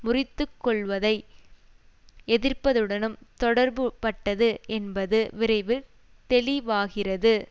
முறித்து கொள்வதை எதிர்ப்பதுடனும் தொடர்புபட்டது என்பது விரைவில் தெளிவாகியது